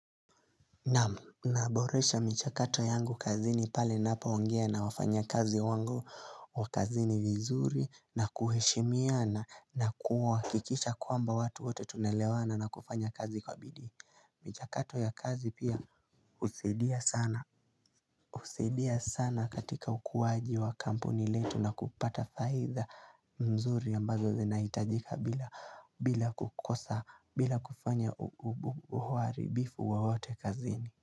Naam naboresha michakato yangu kazini pale ninapoongea na wafanyakazi wangu wa kazini vizuri na kuheshimiana na kuhakikisha kwamba watu wote tunaelewana na kufanya kazi kwa bidii. Michakato ya kazi pia husaidia sana husaidia sana katika ukuwaji wa kampuni letu na kupata faida mzuri ambazo zinahitajika bila kukosa bila kufanya uharibifu wowote kazini.